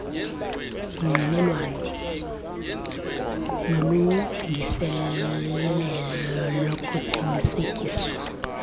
ungqinelwano nolungiselelo lokuqinisekiswa